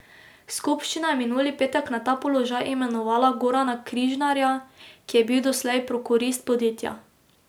Skupščina je minuli petek na ta položaj imenovala Gorana Križnarja, ki je bil doslej prokurist podjetja.